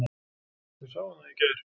Við sáum það í gær.